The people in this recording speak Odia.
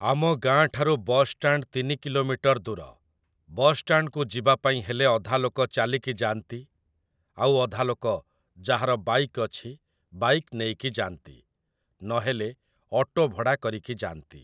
ଆମ ଗାଁ ଠାରୁ ବସଷ୍ଟାଣ୍ଡ ତିନି କିଲୋମିଟର ଦୂର । ବସଷ୍ଟାଣ୍ଡକୁ ଯିବାପାଇଁ ହେଲେ ଅଧାଲୋକ ଚାଲିକି ଯାଆନ୍ତି ଆଉ ଅଧାଲୋକ ଯାହାର ବାଇକ୍ ଅଛି ବାଇକ୍ ନେଇକି ଯାଆନ୍ତି, ନହେଲେ ଅଟୋ ଭଡ଼ା କରିକି ଯାଆନ୍ତି ।